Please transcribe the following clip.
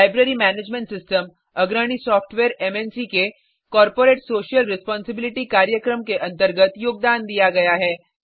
library management system अग्रणी software मन्क के कॉर्पोरेट सोशल रेस्पोंसिबिलिटी कार्यक्रम के अंतर्गत योगदान दिया गया है